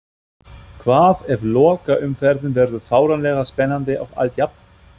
Hvað ef lokaumferðin verður fáránlega spennandi og allt jafnt?